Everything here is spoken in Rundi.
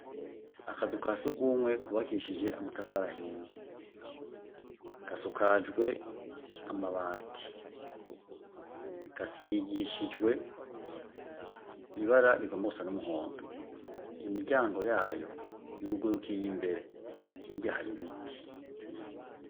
Akazu ka sugumwe kubakishijwe amatafari ahiye, gasakajwe amabati, gasigishije ibara igomba gusa numuhondo, imiryango yayo yugurukiye imbere, hirya yaho hari ibiti.